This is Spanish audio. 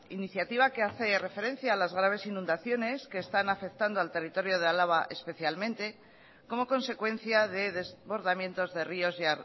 iniciativa que hace referencia a las graves inundaciones que están afectando al territorio de álava especialmente como consecuencia de desbordamientos de ríos y